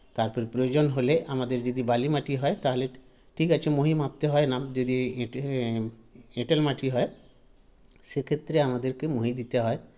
তারপরে প্রয়োজন হলে আমাদের যদি বালিমাটি হয় ঠিকাছে মহি মাপতে হয়না যদি এঁটে এ এঁটেল মাটি হয় সেক্ষেত্রে আমাদেরকে মহি দিতে হয়